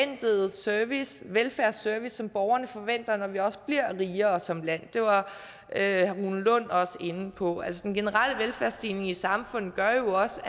service velfærdsservice som borgerne forventer når vi også bliver rigere som land det var herre rune lund også inde på den generelle velfærdsstigning i samfundet gør jo også